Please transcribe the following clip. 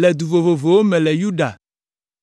le du vovovowo me le Yuda,